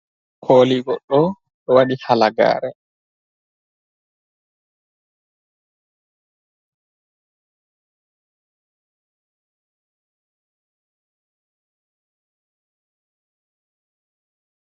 Koolii goɗɗoo ɗo waɗi halagaare.